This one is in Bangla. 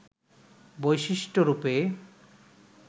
বৈশিষ্ট্য রূপে